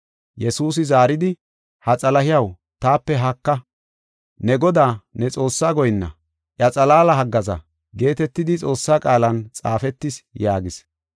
Yesuusi zaaridi, “Ha Xalahiyaw, taape haaka! ‘Ne Godaa, ne Xoossaa goyinna, iya xalaala haggaaza’ geetetidi Xoossaa qaalan xaafetis” yaagis.